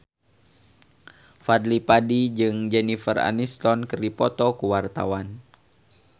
Fadly Padi jeung Jennifer Aniston keur dipoto ku wartawan